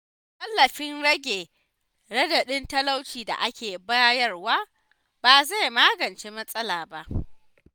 Tallafin rage raɗaɗin talauci da ake bayarwa, ba zai magance matsala ba.